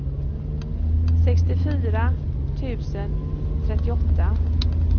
sextiofyra tusen trettioåtta